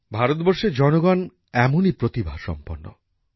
ভারতবর্ষের জনগণ এমনই প্রতিভা সম্পন্ন